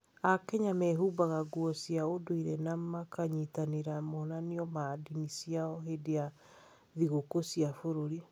AKenya mehumbaga nguo cia ũndũire na makanyitanĩra monanio ma ndini ciao hĩndĩ ya thigũkũ cia bũrũri.